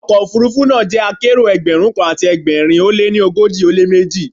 Ọkọ̀ òfuurufú náà jẹ́ akérò Ẹgbẹ̀rún kan àti ẹgbẹ̀rin ó lé ní ogójì ó lé méjì.